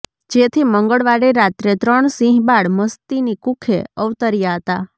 જેથી મંગળવારે રાત્રે ત્રણ સિંહ બાળ મસ્તીની કુખે અવતર્યા હતા